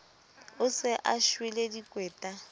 o se a shwele dikweta